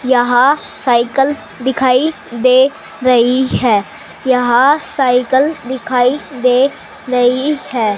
यहां साइकिल दिखाई दे रही है यहां साइकिल दिखाई दे रही है।